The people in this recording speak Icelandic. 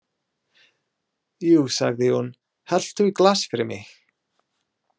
Jú, sagði hún, helltu í glas fyrir mig.